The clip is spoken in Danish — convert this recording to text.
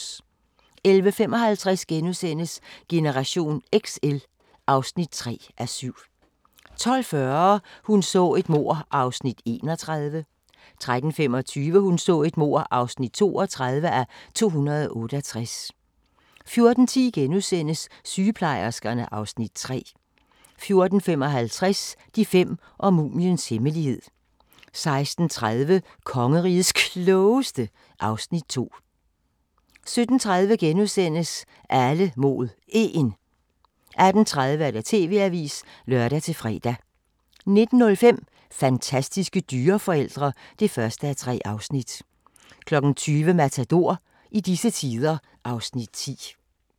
11:55: Generation XL (3:7)* 12:40: Hun så et mord (31:268) 13:25: Hun så et mord (32:268) 14:10: Sygeplejerskerne (Afs. 3)* 14:55: De fem og mumiens hemmelighed 16:30: Kongerigets Klogeste (Afs. 2) 17:30: Alle mod 1 * 18:30: TV-avisen (lør-fre) 19:05: Fantastiske dyreforældre (1:3) 20:00: Matador - i disse tider (Afs. 10)